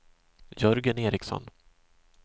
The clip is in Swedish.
Jörgen Ericsson